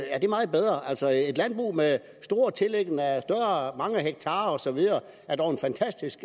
er det meget bedre altså et landbrug med mange hektarer og så videre er dog en fantastisk